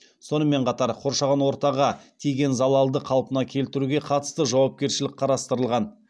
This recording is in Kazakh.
сонымен қатар қоршаған ортаға тиген залалды қалпына келтіруге қатысты жауапкершілік қарастырылған